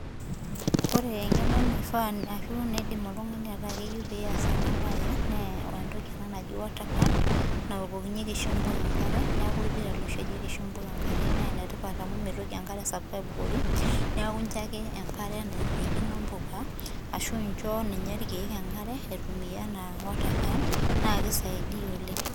Ore eng'eno naifaa ashu naidim oltung'ani ataa keyieu pee eas ena mbae nee entoki ena naaji water can nawokokinyieki oshi mbuka enkare neeku orpira ele oishorieki mbuka enkare naa enetipat amu mitoki enkare sapuk aibukori neeku enjoy ake enkare nairirikino mbuka ashu injo irkeek enkare aitumia ena water can naa keisaidia oleng